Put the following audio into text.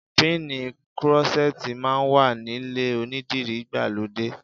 Píìnì krọ́ṣẹ́tì máa wà nílé onídìrí ìgbàlódé.